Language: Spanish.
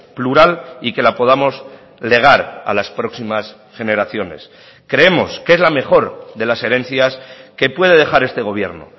plural y que la podamos legar a las próximas generaciones creemos que es la mejor de las herencias que puede dejar este gobierno